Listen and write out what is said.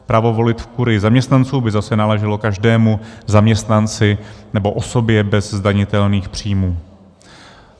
Právo volit v kurii zaměstnanců by zase náleželo každému zaměstnanci nebo osobě bez zdanitelných příjmů.